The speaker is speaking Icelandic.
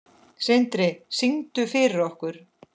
Sindri: Syngdu fyrir okkur?